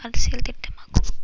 அரசியல் திட்டம் ஆகும்